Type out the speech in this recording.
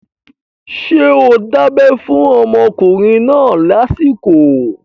Ṣé o dábẹ́ fún ọmọkùnrin náà lásìkò?